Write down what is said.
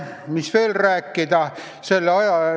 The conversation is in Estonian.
Mis veel rääkida?